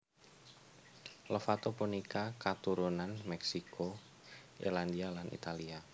Lovato punika katurunan Mexico Irlandia lan Italia